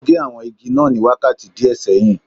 O gé àwọn igi náà ní wákàtí díẹ̀ sẹ́yìn